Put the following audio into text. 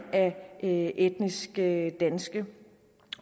af etniske danskere